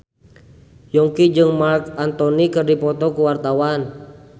Yongki jeung Marc Anthony keur dipoto ku wartawan